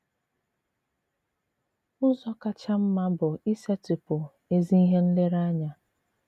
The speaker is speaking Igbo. Ụ̀zọ kacha mma bụ isetị̀pụ ezi ihe nlèrèanya.